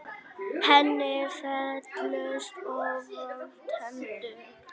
Henni féllust óvænt hendur.